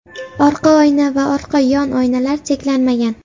Orqa oyna va orqa yon oynalar cheklanmagan.